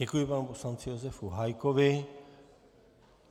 Děkuji panu poslanci Josefu Hájkovi.